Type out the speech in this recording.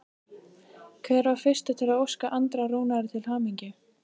Hver var fyrstur til að óska Andra Rúnari til hamingju?